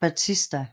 Bautista